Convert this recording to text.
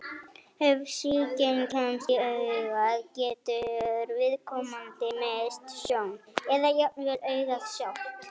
Ef sýking kemst í augað getur viðkomandi misst sjón, eða jafnvel augað sjálft.